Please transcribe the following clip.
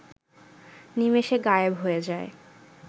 নিমেষে গায়েব হয়ে যায়